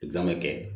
kɛ